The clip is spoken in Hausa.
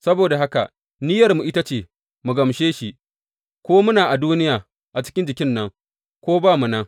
Saboda haka, niyyarmu ita ce, mu gamshe shi, ko muna a duniya cikin jikin nan, ko ba mu nan.